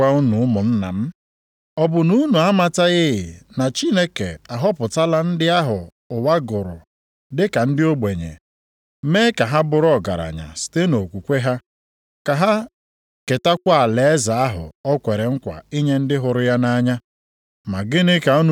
Geenụ ntị ka m gwa unu ụmụnna m, ọ bụ na unu amataghị na Chineke ahọpụtala ndị ahụ ụwa gụrụ dịka ndị ogbenye, mee ka ha bụrụ ọgaranya site nʼokwukwe ha, ka ha ketakwa alaeze ahụ o kwere nkwa inye ndị hụrụ ya nʼanya?